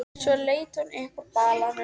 Svo leit hún upp úr balanum.